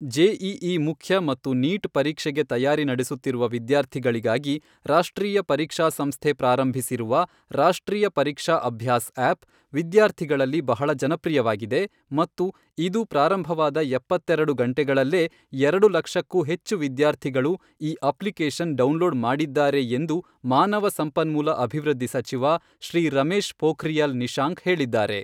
JEE ಮುಖ್ಯ ಮತ್ತು NEET ಪರೀಕ್ಷೆಗೆ ತಯಾರಿ ನಡೆಸುತ್ತಿರುವ ವಿದ್ಯಾರ್ಥಿಗಳಿಗಾಗಿ ರಾಷ್ಟ್ರೀಯ ಪರೀಕ್ಷಾ ಸಂಸ್ಥೆ ಪ್ರಾರಂಭಿಸಿರುವ ರಾಷ್ಟ್ರೀಯ ಪರೀಕ್ಷಾ ಅಭ್ಯಾಸ್ ಆ್ಯಪ್ ವಿದ್ಯಾರ್ಥಿಗಳಲ್ಲಿ ಬಹಳ ಜನಪ್ರಿಯವಾಗಿದೆ ಮತ್ತು ಇದು ಪ್ರಾರಂಭವಾದ ಎಪ್ಪತ್ತೆರೆಡು ಗಂಟೆಗಳಲ್ಲೇ ಎರಡು ಲಕ್ಷಕ್ಕೂ ಹೆಚ್ಚು ವಿದ್ಯಾರ್ಥಿಗಳು ಈ ಅಪ್ಲಿಕೇಶನ್ ಡೌನ್ಲೋಡ್ ಮಾಡಿದ್ದಾರೆ ಎಂದು ಮಾನವ ಸಂಪನ್ಮೂಲ ಅಭಿವೃದ್ಧಿ ಸಚಿವ ಶ್ರೀ ರಮೇಶ್ ಪೋಖ್ರಿಯಲ್ ನಿಶಾಂಕ್ ಹೇಳಿದ್ದಾರೆ.